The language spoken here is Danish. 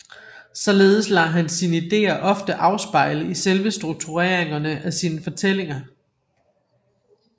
Således lader han sine idéer ofte afspejle i selve struktureringerne af sine fortællinger